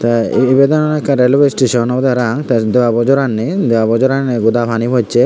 tey ee ibendw ekkan railway station obwdey parapang tey debabo jor annei debabo jor aniney goda pani pocchei.